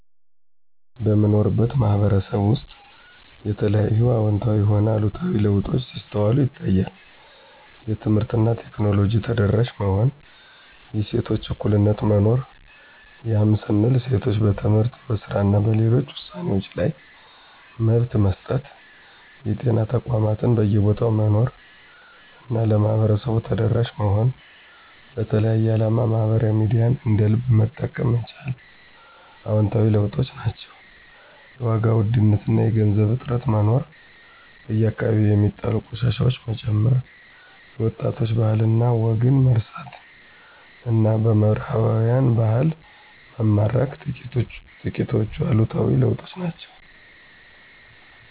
በምኖርበት ማህበረሰብ ውስጥ የተለያዩ አወንታዊም ሆነ አሉታዊ ለውጦች ሲስተዋሉ ይታያል። የትምህርት እና ቴክኖሎጂ ተደራሽ መሆን፣ የሴቶች እኩልነት መኖር ያም ስንል ሴቶች በትምህርት፣ በስራ እና ሌሎች ውሳኔወችዋ ላይ መብት መሰጠት፣ የጤና ተቋማት በየቦታው መኖር እና ለማህበረሰቡ ተደራሽ መሆን፣ ለተለያየ አላማ ማህበራዊ ሚዲያን እንደ ልብ መጠቀም መቻል አወንታዊ ለውጦች ናቸው። የዋጋ ውድነት እና የገንዘብ እጥረት መኖር፣ በየአከባቢው ሚጣሉ ቆሻሻወች መጨመር፣ የወጣቶች ባህል እና ወግን መርሳት እና በምህራባውያን ባህል መማረክ ጥቂቶቹ አሉታዊ ለውጦች ናቸው።